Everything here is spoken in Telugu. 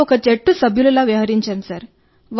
మేము ఒక జట్టు సభ్యులలా వ్యవహరించాం సార్